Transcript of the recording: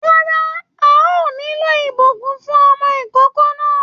Rárá a ò nílò ibùsùn fún ọmọ ìkókó náà.